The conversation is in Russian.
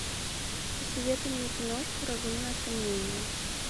посоветуй мне киношку разумное сомнение